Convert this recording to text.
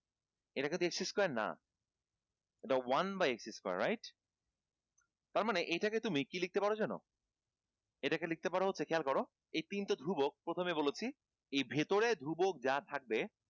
এটা কিন্তু x square না এটা one by x square তার মানে এইটাকে তুমি কি লিখতে পারো জানো? এটাকে লিখতে পারো হচ্ছে খেয়াল কর এই তিনটা ধ্রুবক প্রথমেই বলেছি এই ভিতরে ধ্রুবক যা থাকবে